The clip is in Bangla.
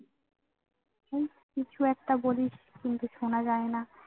ওই কিছু একটা বলিস কিন্তু শোনা যায় না।